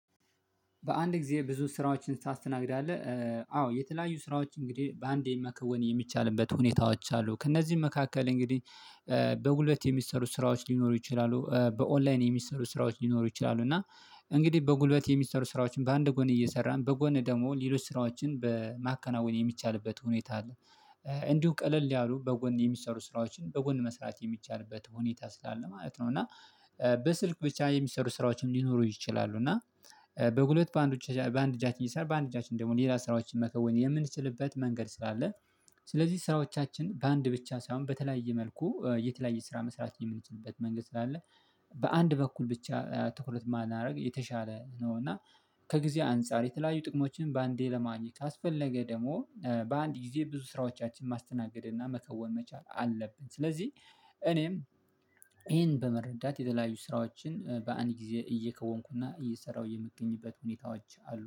"በአንድ ጊዜ ብዙ ስራዎችን ታስተናግዳለህ?" አዎ የተለያዩ ስራዎች እንግዲህ በአንዴ መከወን የሚቻልበት ሁኔታዎች አሉ። ከእነዚህም መካከል እንግዲህ በጉልበት የሚሰሩ ስራዎች ሊኖሩ ይችላሉ። በ 'ኦንላይን' የሚሰሩ ስራዎች ሊኖሩ ይችላሉ። እና እንግዲህ በጉልበት የሚሰሩ ስራዎችን በአንድ ጎን እየሰራን በጎን ደግሞ ሌሎች ስራዎችን በማከናወን የሚቻልበት ሁኔታ አለ። እንዲሁ ቀለል ያሉ በጎን የሚሰሩ ስራዎችን በጎን መስራት የሚቻልበት ሁኔታ ስላለ ማለት ነው። እና በስልክ ብቻ የሚሰሩ ስራዎችም ሊኖሩ ይችላሉ። እና በጉልበት በአንድ በአንድ እጃችን እየሰራን በአንድ እጃችን ደግሞ ሌላ ስራዎችን መከወን የምንችልበት መንገድ ስላለ ስለዚህ ስራዎቻችን በአንድ ብቻ ሳይሆን በተለያየ መልኩ የተለያየ ስራ መስራት የምንችልበት መንገድ ስላለ በአንድ በኩል ብቻ ትኩረት ባናደርግ የተሻለ ነው። እና ከጊዜ አንፃር የተለያዩ ጥቅሞችን በአንዴ ለማግኘት ካስፈለገ ደግሞ በአንድ ጊዜ ብዙ ስራዎቻችን ማስተናገድ እና መከወን መቻል አለብን። ስለዚህ እኔም ይሄን በመረዳት የተለያዩ ስራዎችን በአንድ ጊዜ እየከወንኩ እና እየሰራሁ የምገኝበት ሁኔታዎች አሉ።